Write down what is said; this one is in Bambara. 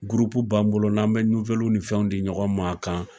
b'an bolo n'an be ni fɛnw di ɲɔgɔn ma a kan.